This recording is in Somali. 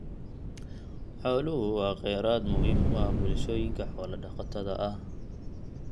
Xooluhu waa kheyraad muhiim u ah bulshooyinka xoolo-dhaqatada ah.